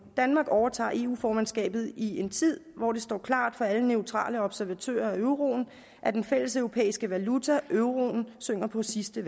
danmark overtager eu formandskabet i en tid hvor det står klart for alle neutrale observatører af euroen at den fælleseuropæiske valuta euroen synger på sidste